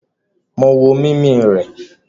Mo wo mimi rẹ..